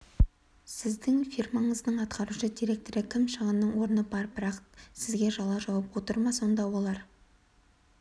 сіздің фирмаңыздың атқарушы директоры кім шығынның орны бар бірақ сізге жала жауып отыр ма сонда оларға